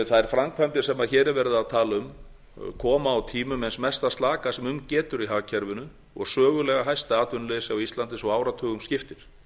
þær framkvæmdir sem hér er verið að tala um koma á tímum eins mesta slaka sem um getur í hagkerfinu og sögulega hæsta atvinnuleysi á íslandi svo áratugum skiptir